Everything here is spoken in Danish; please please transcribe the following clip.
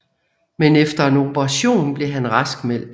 Men efter en operation blev han raskmeldt